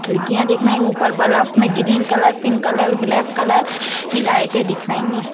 खिड़कियां दिख रही है ऊपर बल्ब में green colour pink colour black colour की लाइटें दिख रही है।